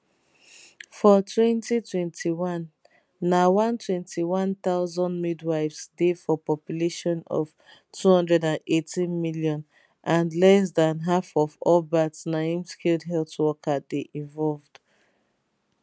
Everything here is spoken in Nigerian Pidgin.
for 2021 na 121000 midwives dey for population of 218 million and less dan half of all births na im skilled health worker dey involved